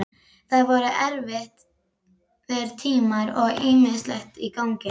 Það voru erfiðir tímar og ýmislegt í gangi.